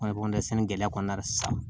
sɛnɛ gɛlɛya kɔnɔna na sisan